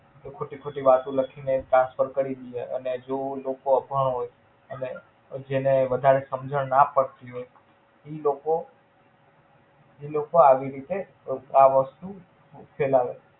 એ ખોટી ખોટી વાતો લખીને Transfer કરી દીયે. અને જ લોકો અભણ હોઈ એને જેને વધારે સમજણ ના પડતી હોઈ ઈ લોકો ઈ લોકો આવી રીતે, આ વસ્તુ ફેલાવે.